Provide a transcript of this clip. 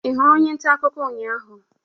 Ị hụrụ onye nta akụkọ ụnyahụ?